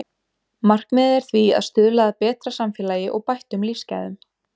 Markmiðið er því að stuðla að betra samfélagi og bættum lífsgæðum.